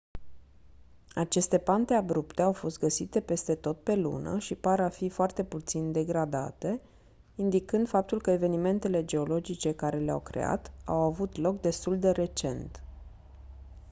aceste pante abrupte au fost găsite peste tot pe lună și par a fi foarte puțin degradate indicând faptul că evenimentele geologice care le-au creat au avut loc destul de recent